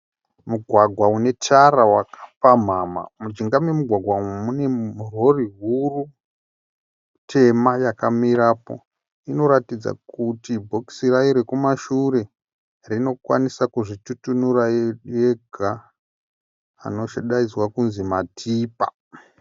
Mugwagwa unetara wakapamhamha. Mujinga memugwagwa umu mune rori huru tema yakamirapo. Rinoratidza kuti bhokisi rayo rekumashure rinokwanisa kuzvitutunura yega. Anodainzwa kudzi matipa.